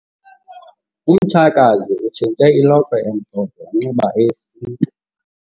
Umtshakazi utshintshe ilokhwe emhlophe wanxiba eyesintu.